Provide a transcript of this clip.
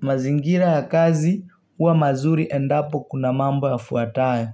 Mazingira ya kazi, uwa mazuri endapo kuna mambo ya fuatayo.